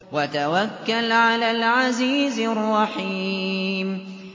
وَتَوَكَّلْ عَلَى الْعَزِيزِ الرَّحِيمِ